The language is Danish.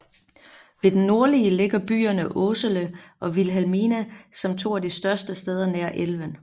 Ved den nordlige ligger byerne Åsele og Vilhelmina som to af de større steder nær elven